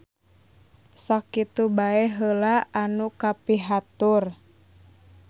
Sakitu bae heula anu kapihatur.